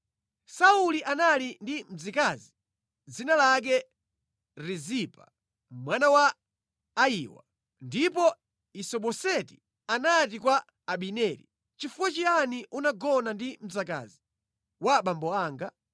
Sauli anali ndi mzikazi dzina lake Rizipa mwana wa Ayiwa. Ndipo Isiboseti anati kwa Abineri, “Nʼchifukwa chiyani unagona ndi mzikazi wa abambo anga?”